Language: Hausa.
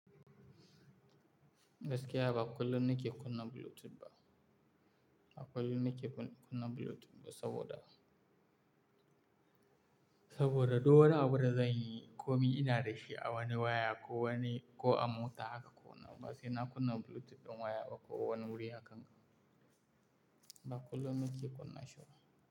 Gaskiya ba kullum na ke kunna Bluetooth ba. Ba kullum na ke kunna Bluetooth ba saboda, saboda duk wani abu da zanyi ko mi ina da shi a wani waya ko wani, ko a mota haka ƙona ba sai na kunna Bluetooth ɗin waya bakowa wani wuri haka. Ba kullum na ke kunna shi ba.